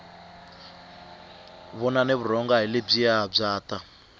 vonani vurhonga hi lebyiya bya ta